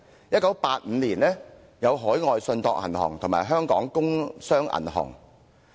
1985年有海外信託銀行和香港工商銀行被政府接管。